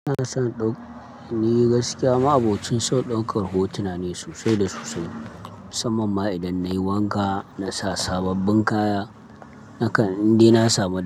Ina son ɗau-- ni gaskiya ma abokin sau ɗaukar hotuna ne sosai da sosai, musamman ma idan nayi wanka, nasa sababbin kaya, nakan indina samu.